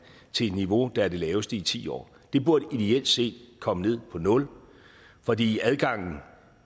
til et niveau der er det laveste i ti år det burde ideelt set komme ned på nul fordi adgangen